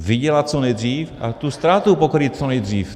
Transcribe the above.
Vydělat co nejdřív a tu ztrátu pokrýt co nejdřív.